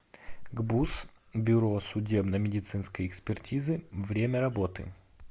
гбуз бюро судебно медицинской экспертизы время работы